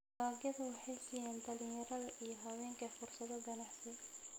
Dalagyadu waxay siiyaan dhalinyarada iyo haweenka fursado ganacsi.